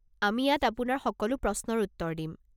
আমি ইয়াত আপোনাৰ সকলো প্ৰশ্নৰ উত্তৰ দিম।